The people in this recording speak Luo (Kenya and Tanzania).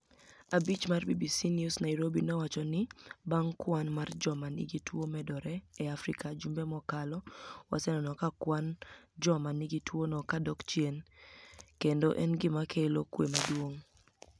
Abich mar BBC ni ews niairobi nowacho nii banig' kwani mar joma niigi tuo medore e Afrika jumbe mokalo waseni eno kwani mar joma niigi tuono ka dok chieni, eni gima kelo kwe maduonig